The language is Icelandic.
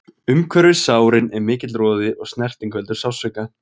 Umhverfis sárin er mikill roði og snerting veldur sársauka.